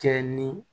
Kɛ ni